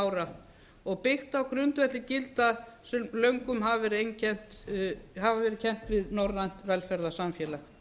ára og byggt á grundvelli gilda sem löngum hafa verið kennd við norrænt velferðarsamfélag